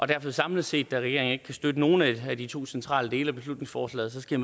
derfor samlet set da regeringen ikke kan støtte nogen af de to centrale dele af beslutningsforslaget skal